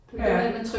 Det gør det